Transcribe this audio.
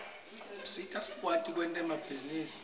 usita sikwati kwenta emabhizinisi